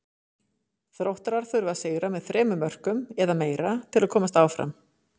Þróttarar þurfa að sigra með þremur mörkum eða meira til að komast áfram.